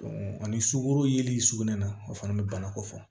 ani sukoro yeli sugunɛ na o fana bɛ bana ko fɔ